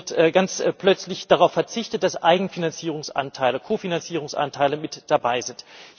Hier wird ganz plötzlich darauf verzichtet, dass Eigenfinanzierungsanteile, Kofinanzierungsanteile mit dabei sind.